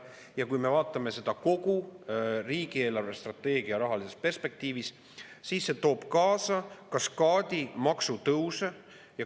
Ja kui me vaatame seda kogu riigi eelarvestrateegia rahalises perspektiivis, siis see toob kaasa kaskaadi maksutõuse.